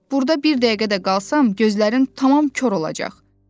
Burda bir dəqiqə də qalsam gözlərim tamam kor olacaq.